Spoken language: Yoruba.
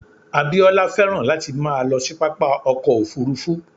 Abíọ́lá féràn láti máa lọ sí pápá ọkọ̀ Òfurufú.